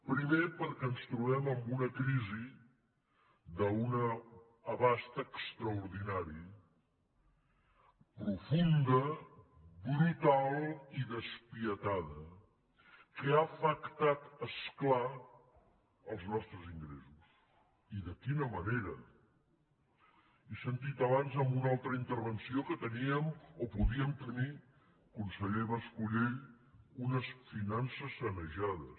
primer perquè ens tro·bem amb una crisi d’un abast extraordinari profunda brutal i despietada que ha afectat és clar els nostres in·gressos i de quina manera he sentit abans en una altra intervenció que teníem o podíem tenir conseller mas·colell unes finances sanejades